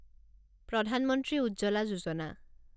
প্ৰধান মন্ত্ৰী উজ্জ্বলা যোজনা